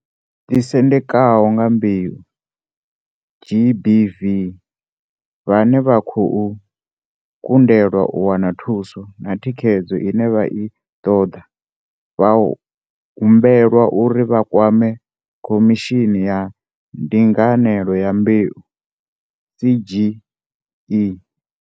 Ḓisendekaho nga mbeu, GBV, vhane vha khou kundelwa u wana thuso na thikhedzo ine vha i ṱoḓa vha hum belwa uri vha kwame Khomishini ya Ndinganelo ya Mbeu, CGE.